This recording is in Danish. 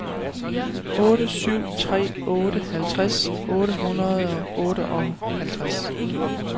otte syv tre otte halvtreds otte hundrede og otteoghalvtreds